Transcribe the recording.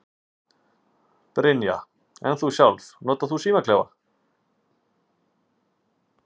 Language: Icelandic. Brynja: En þú sjálfur, notar þú símaklefa?